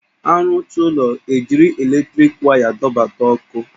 A rụcha ụlọ, e jiri eletriki waya dọbata ọkụ